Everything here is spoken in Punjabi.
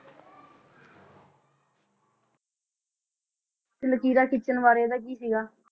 ਤੇ ਲਕੀਰਾਂ ਖਿੱਚਣ ਬਾਰੇ ਦਾ ਕੀ ਸੀਗਾ?